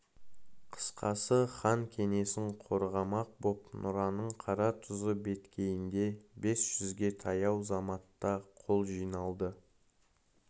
қысқасы хан кеңесін қорғамақ боп нұраның қаратұзы беткейінде бес жүзге таяу заматта қол жиналды